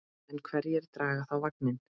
En hverjir draga þá vagninn?